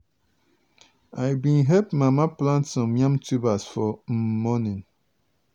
i bin help mama plant some yam tubers for um morning.